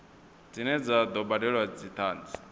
dzine dza do badelwa dzithanzi